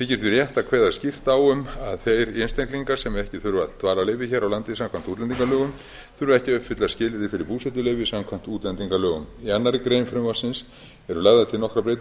þykir því rétt að kveða skýrt á um að þeir einstaklingar sem ekki þurfa dvalarleyfi hér á landi samkvæmt útlendingalögum þurfi ekki að uppfylla skilyrði fyrir búsetuleyfi samkvæmt útlendingalögum í annarri grein frumvarpsins eru lagðar til nokkrar breytingar